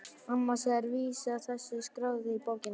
Annars er vísa þessi skráð í bókina